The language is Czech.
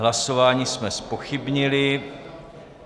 Hlasování jsme zpochybnili.